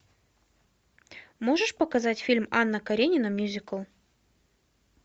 можешь показать фильм анна каренина мюзикл